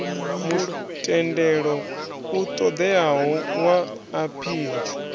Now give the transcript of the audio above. mutendelo u ṱoḓeaho wa aphili